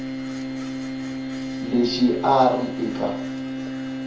lexi a a ri eka